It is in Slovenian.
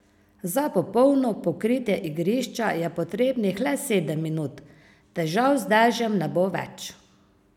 Za popolno pokritje igrišča je potrebnih le sedem minut, težav z dežjem ne bo več.